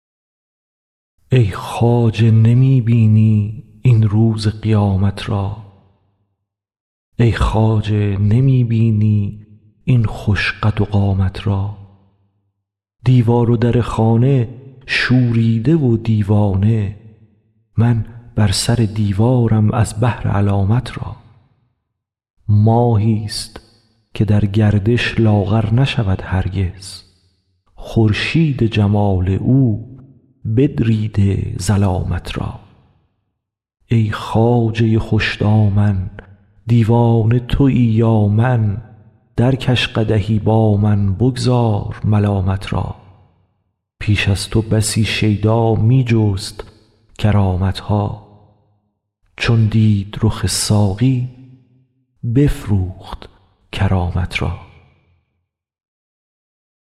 ای خواجه نمی بینی این روز قیامت را ای خواجه نمی بینی این خوش قد و قامت را دیوار و در خانه شوریده و دیوانه من بر سر دیوارم از بهر علامت را ماهیست که در گردش لاغر نشود هرگز خورشید جمال او بدریده ظلامت را ای خواجه خوش دامن دیوانه توی یا من درکش قدحی با من بگذار ملامت را پیش از تو بسی شیدا می جست کرامت ها چون دید رخ ساقی بفروخت کرامت را